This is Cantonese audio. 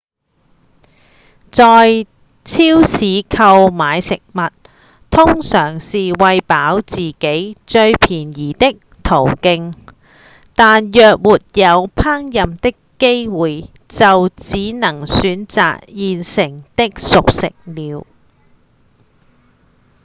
在超市購買食物通常是餵飽自己最便宜的途徑但若沒有烹飪的機會就只能選擇現成的熟食了